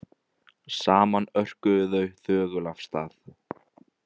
Saman örkuðu þau þögul af stað.